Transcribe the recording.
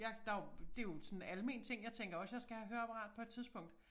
Jeg der jo det jo sådan en almen ting jeg tænker også jeg skal have høreapparat på et tidspunkt